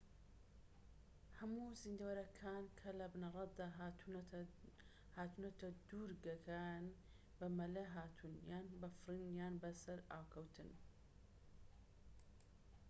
هەموو زیندەوەرەکان کە لە بنەرەتدا هاتوونەتە دوورگەکە یان بە مەلە هاتوون یان بە فڕین یان بە سەرئاوکەوتن